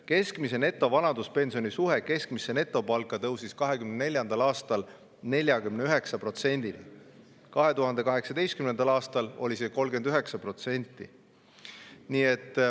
Keskmise netovanaduspensioni suhe keskmisesse netopalka tõusis 2024. aastal 49%‑ni, 2018. aastal oli see 39%.